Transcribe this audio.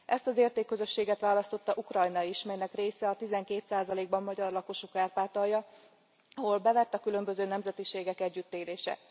Ezt az értékközösséget választotta Ukrajna is, melynek része a 12 ban magyar lakosú Kárpátalja, ahol bevett a különböző nemzetiségek együttélése.